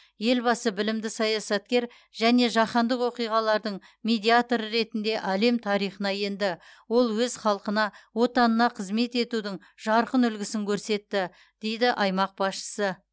елбасы білімді саясаткер және жаһандық оқиғалардың медиаторы ретінде әлем тарихына енді ол өз халқына отанына қызмет етудің жарқын үлгісін көрсетті дейді аймақ басшысы